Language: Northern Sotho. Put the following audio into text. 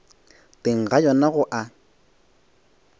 teng ga yona go a